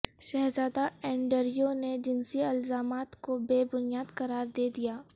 شہزادہ اینڈریو نے جنسی الزامات کو بے بنیاد قرار دے دیا